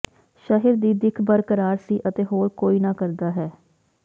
ਸ਼ਹਿਰ ਦੀ ਦਿੱਖ ਬਰਕਰਾਰ ਸੀ ਅਤੇ ਹੋਰ ਕੋਈ ਨਾ ਕਰਦਾ ਹੈ